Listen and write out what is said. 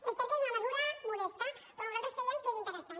és cert que és una mesura modesta però nosaltres creiem que és interessant